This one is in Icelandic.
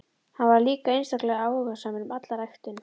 Hann var líka einstaklega áhugasamur um alla ræktun.